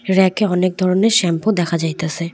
Rake -এ অনেক ধরনের শ্যাম্পু দেখা যাইতেছে।